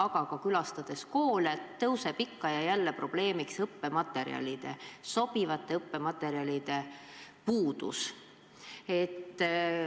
Aga külastades koole, tõuseb ikka ja jälle probleemiks sobivate õppematerjalide puudus.